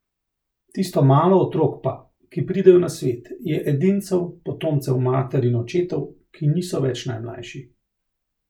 Tisto malo otrok pa, ki pridejo na svet, je edincev, potomcev mater in očetov, ki niso več najmlajši.